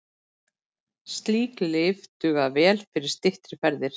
Slík lyf duga vel fyrir styttri ferðir.